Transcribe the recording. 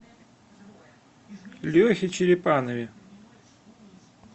лехе черепанове